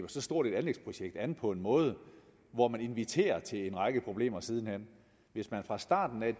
så stort et anlægsprojekt an på en måde hvor man inviterer til en række problemer siden hen hvis man fra starten af